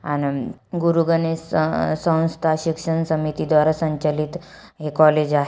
आण गुरु गणेश सौंस्था शिक्षण समिति द्वारा संचालित हे कॉलेज आहे.